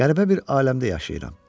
Qəribə bir aləmdə yaşayıram.